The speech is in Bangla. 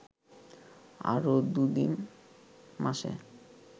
আরও দু’তিন মাসে